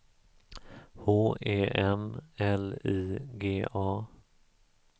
H E M L I G A